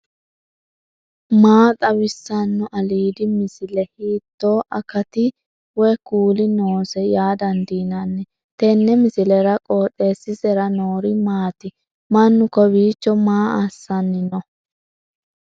maa xawissanno aliidi misile ? hiitto akati woy kuuli noose yaa dandiinanni tenne misilera? qooxeessisera noori maati ? mannu kowiicho maa assanni noo